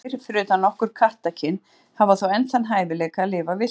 Kettir, fyrir utan nokkur kattakyn, hafa þó enn þann hæfileika að lifa villtir.